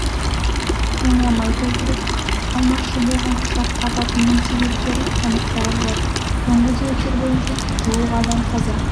жанармай толтырып алмақшы болған ұшақ апатының себептері анықталып жатыр соңғы деректер бойынша жуық адам қаза